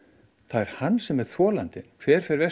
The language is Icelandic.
er hann sem er þolandinn hver fer verst